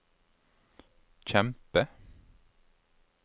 kjempe